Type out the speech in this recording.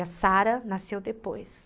A Sarah nasceu depois.